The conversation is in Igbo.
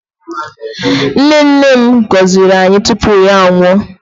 Nne nne m gọziri anyị tupu ya anwụọ.